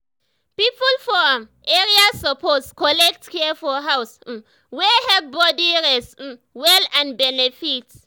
people for um area suppose collect care for house um wey help body rest um well and benefit.